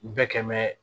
U bɛɛ kɛ mɛ